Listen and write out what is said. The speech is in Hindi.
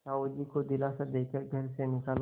साहु जी को दिलासा दे कर घर से निकाला